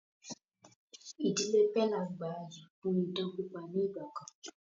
Ìdílé pẹ́là gbà yìí fún idán pípa ni ìgbàkan